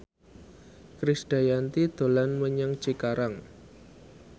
Krisdayanti dolan menyang Cikarang